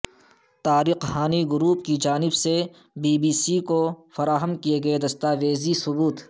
Tariq Hani group کی جانب سے بی بی سی کو فراہم کیے گئے دستاویزی ثبوت